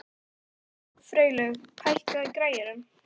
Freylaug, hækkaðu í græjunum.